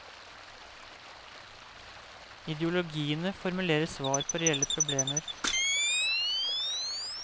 Ideologiene formulerer svar på reelle problemer.